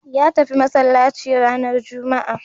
Ya tafi masallaci ranar juma'a